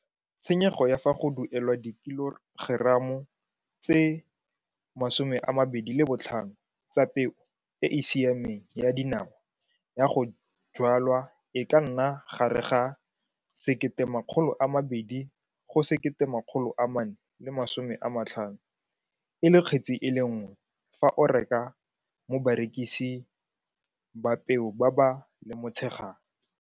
Tshenyego ya fa go duelwa dikilogeramo tse 25 tsa peo e e siameng ya dinawa ya go jwalwa e ka nna gare ga R1 200 go R1 450 e le kgetsi e le nngwe fa o e reka mo bareksis ba peo ba ba lemotshegang.